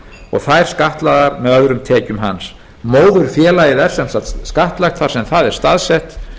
og þær skattlagðar með öðrum tekjum hans móðurfélagið er sem sagt skattlagt þar sem það er staðsett